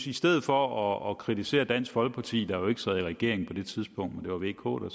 i stedet for at kritisere dansk folkeparti der jo ikke sad i regering på det tidspunkt det var vk der